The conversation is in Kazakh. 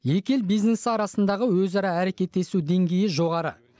екі ел бизнесі арасындағы өзара әрекеттесу деңгейі жоғары